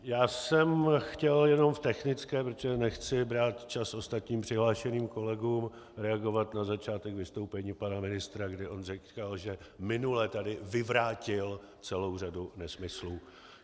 Já jsem chtěl jenom v technické, protože nechci brát čas ostatním přihlášeným kolegům, reagovat na začátek vystoupení pana ministra, kdy on říkal, že minule tady vyvrátil celou řadu nesmyslů.